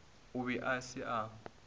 o be a se a